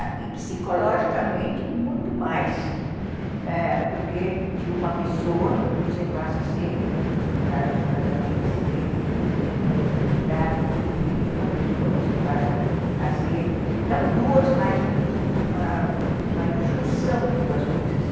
e psicologicamente muito mais, eh, porque de uma pessoa você passa a ser, no caso de um casamento assim bem estruturado, em vez de uma pessoa você passa a ser não duas, mas uma uma junção de duas coisas.